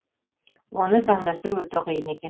оны заңдастыру өте қиын